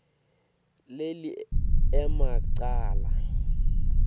leli ema cala